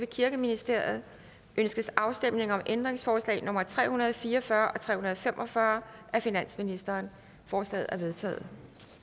kirkeministeriet ønskes afstemning om ændringsforslag nummer tre hundrede og fire og fyrre og tre hundrede og fem og fyrre af finansministeren forslagene er vedtaget